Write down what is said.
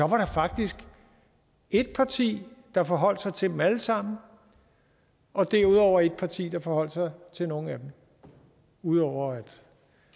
var faktisk et parti der forholdt sig til dem alle sammen og derudover var der et parti der forholdt sig til nogle af dem ud over